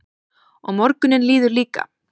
Og morgunninn líður líka.